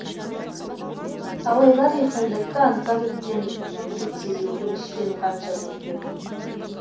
талайлар еркіндікті аңсап өткен өтсе де өкінішпен қанша көктем